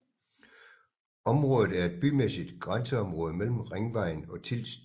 Området er et bymæssigt grænseområde mellem Ringvejen og Tilst